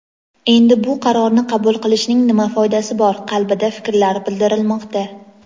endi bu qarorni qabul qilishning nima foydasi bor qabilida fikrlar bildirilmoqda.